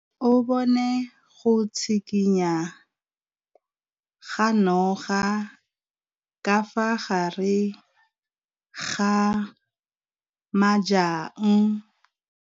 O bone go tshikinya ga noga ka fa gare ga majang.